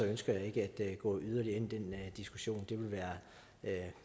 ønsker jeg ikke at gå yderligere ind i den diskussion det ville være